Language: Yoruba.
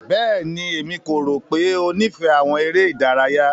Bẹ́ẹ̀ni, Emi ko ro pe o nifẹ awọn ere idaraya.